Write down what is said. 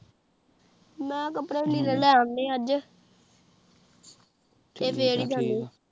ਮੈ ਕਪੜੇ ਲੀਰੇ ਲੈ ਅੰਡੇ ਅਜੇ ਤੇਹ